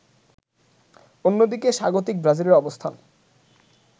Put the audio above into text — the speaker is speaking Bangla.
অন্যদিকে স্বাগতিক ব্রাজিলের অবস্থান